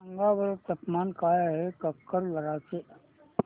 सांगा बरं तापमान काय आहे काकरदरा चे